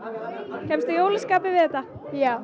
kemstu í jólaskapið við þetta já